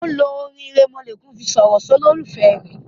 o lo orin iremolekun fí sọrọ sí ololufẹ rẹ.